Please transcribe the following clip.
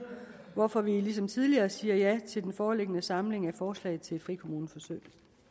hvorfor vi ligesom tidligere siger ja til den foreliggende samling af forslag til frikommuneforsøg